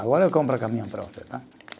Agora eu compro o caminhão para você, tá?